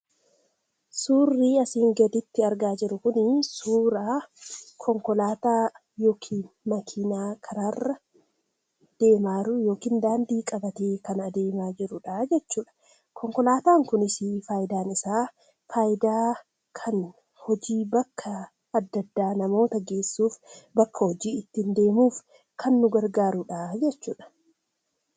Suurri asii gaditti argaa jirru kun, suura konkolaataa karaarra deemaa jirudha jechuudha. konkolaatan kunis faayidaan isaa, faayidaa kan hojii bakka adda addaa geesuuf bakka hojii ittiin deemuuf kan gargaarudha.